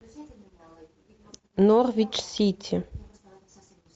норвич сити